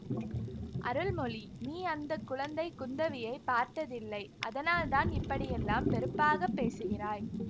அருள்மொழி நீ அந்த குழந்தை குந்தவியை பார்த்ததில்லை அதனால் தான் இப்படியெல்லாம் வெறுப்பாக பேசுகிறாய்